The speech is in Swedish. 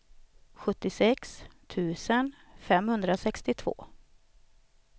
sjuttiosex tusen femhundrasextiotvå